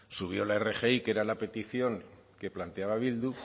subió la rgi que era la petición que planteaba bildu